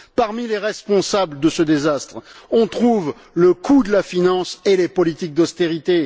Parmi les responsables de ce désastre, on trouve le coût de la finance et les politiques d'austérité.